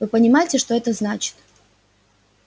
вы понимаете что это значит